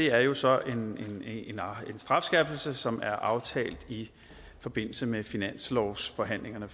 er jo så en strafskærpelse som er aftalt i forbindelse med finanslovsforhandlingerne